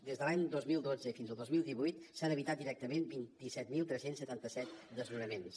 des de l’any dos mil dotze i fins al dos mil divuit s’han evitat directament vint set mil tres cents i setanta set desnonaments